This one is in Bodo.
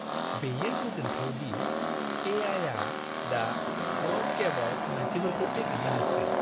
बेयो गोजोनथाव दि ए.आइ.आ दा ब'र्ड गेमआव मानसिफोरखौ फेजेननो हासै।